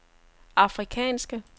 afrikanske